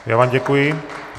Já vám děkuji.